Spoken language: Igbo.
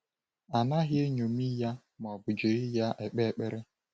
A naghị eṅomi ya ma ọ bụ jiri ya ekpe ekpere.